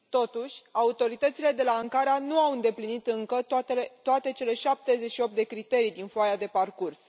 Totuși, autoritățile de la Ankara nu au îndeplinit încă toate cele 78 de criterii din foaia de parcurs.